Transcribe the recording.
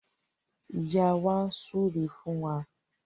Ìyá wa súre fún wa